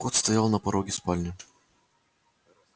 кот стоял на пороге спальни